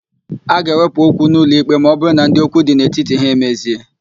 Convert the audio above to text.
A ga-ewepụ okwu n'ụlọikpe ma ọbụrụ na ndị okwu dị n'etiti ha emezie.